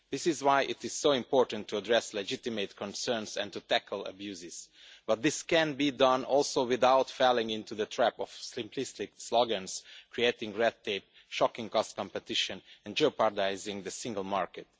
This is why it is so important to address legitimate concerns and to tackle abuse, but this can also be done without falling into the trap of simplistic slogans, creating red tape, shocking cost competition and jeopardising the single market.